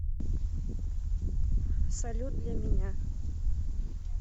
салют для меня